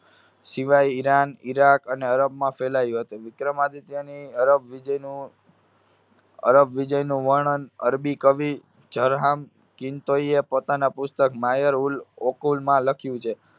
સિવાય Iran, Iraq અને અરબમાં ફેલાયું હતું. વિક્રમાદિત્યની અરબ વિજયનું અરબ વિજયનું વર્ણન અરબી કવિ ઝરહામ કિનતોયે પોતાના પુસ્તક માહેર-ઉલ-ઓકુલમાં લખ્યું છે.